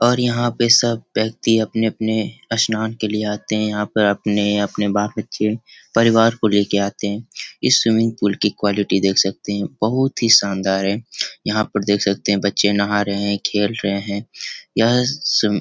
और यहाँ पे सब व्यक्ति अपने-अपने स्नान के लिए आते हैं। यहाँ पर अपने अपने बाल-बच्चे परिवार को लेकर आते हैं। इस स्विमिंग पूल की क्वालिटी देख सकते हैं बहुत ही शानदार है। यहाँ पर देख सकते हैं बच्चे नहा रहें हैं खेल रहे हैं। यह स्वी --